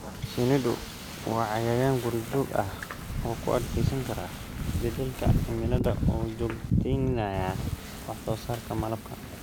Shinnidu waa cayayaan guri-joog ah oo u adkeysan kara isbedelka cimilada oo joogteynaya wax soo saarka malabka.